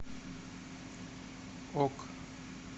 ок